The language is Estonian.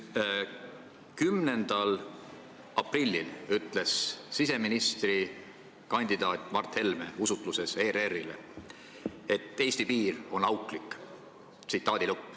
10. aprillil ütles siseministrikandidaat Mart Helme intervjuus ERR-ile, et Eesti piir on auklik.